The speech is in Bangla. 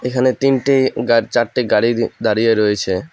এখানে তিনটে গা চারটে গাড়ি দাঁড়িয়ে রয়েছে।